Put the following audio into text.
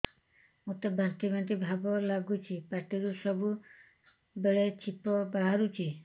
ମୋତେ ବାନ୍ତି ବାନ୍ତି ଭାବ ଲାଗୁଚି ପାଟିରୁ ସବୁ ବେଳେ ଛିପ ବାହାରୁଛି